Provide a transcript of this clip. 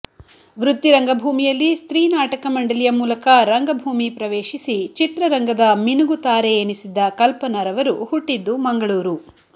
ವೃತ್ತಿ ರಂಗಭೂಮಿಯಲ್ಲಿ ಸ್ತ್ರೀ ನಾಟಕ ಮಂಡಲಿಯ ಮೂಲಕ ರಂಗಭೂಮಿ ಪ್ರವೇಶಿಸಿ ಚಿತ್ರರಂಗದ ಮಿನುಗುತಾರೆ ಎನಿಸಿದ್ದ ಕಲ್ಪನಾ ರವರು ಹುಟ್ಟಿದ್ದು ಮಂಗಳೂರು